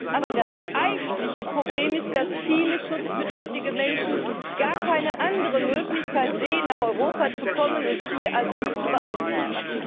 Aber das eigentliche Problem ist, dass viele schutzbedürftige Menschen gar keine andere Möglichkeit sehen, nach Europa zu kommen und hier Asyl zu beantragen.